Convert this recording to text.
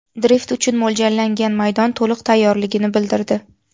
Drift uchun mo‘ljallangan maydon to‘liq tayyorligini bildirdi.